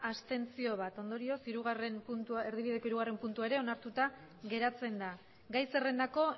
abstentzioak bat ondorioz erdibideko hirugarrena puntua ere onartuta geratzen da gai zerrendako